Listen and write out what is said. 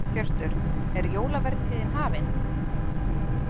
Hjörtur, er jólavertíðin hafin?